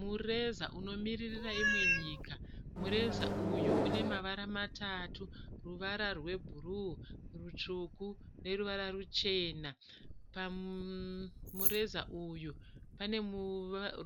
Mureza unomiririra imwe nyika. Mureza uyu une mavara matatu, ruvara rwebhuruu, rutsvuku neruvara ruchena. Pamureza uyu pane